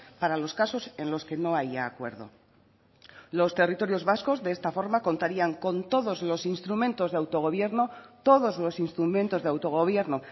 para los casos en los que no haya acuerdo los territorios vascos de esta forma contarían con todos los instrumentos de autogobierno todos los instrumentos de autogobierno